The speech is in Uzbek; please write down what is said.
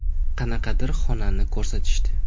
Qanaqadir xonani ko‘rsatishdi.